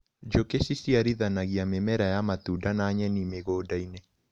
Njũkĩ ciciarithanagia mĩmera ya matunda na nyeni mĩgũndainĩ.